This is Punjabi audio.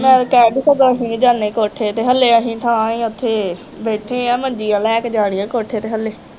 ਨਾਲੇ ਕਹਿ ਵੀ ਤਾਂ ਜਾਂਦੇ ਕੋਠੇ ਤੇ ਹਾਲੇ ਅਸੀਂ ਥਾਂ ਹੀ ਉੱਥੇ ਬੈਠੇ ਹਾਂ ਮੰਜੀਆਂ ਲੈ ਕੇ ਜਾਣੀਆਂ ਕੋਠੇ ਤੇ